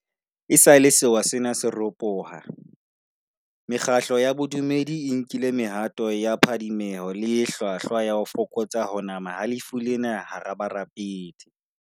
Esale sewa sena se ropoha, mekgatlo ya bo dumedi e nkile mehato ya phadimeho le e hlwahlwa ya ho fokotsa ho nama ha lefu lena hara barapedi.